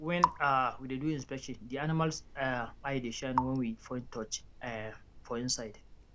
when um we dey do inspection the animals um eye dey shine when we point torch um for inside